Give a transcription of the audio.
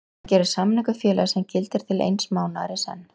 Hann gerir samning við félagið sem gildir til eins mánaðar í senn.